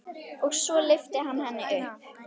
Og svo lyfti hann henni upp.